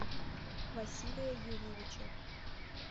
василия юрьевича